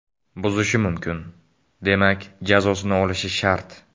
Buzishi mumkin, demak jazosini olishi shart.